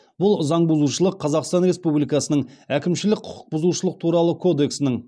бұл заң бұзушылық қазақстан республикасының әкімшілік құқық бұзушылық туралы кодексінің